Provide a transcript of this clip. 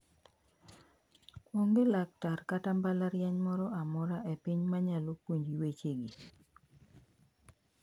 Onge laktar kata mbalariany moro amora e piny ma nyalo puonji wechegi"